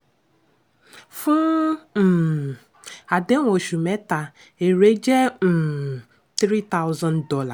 fún um àdéhùn oṣù méta èrè jẹ́ um three thousand dollar